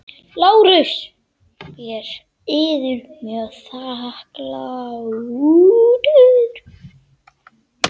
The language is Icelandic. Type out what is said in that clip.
LÁRUS: Ég er yður mjög þakklátur.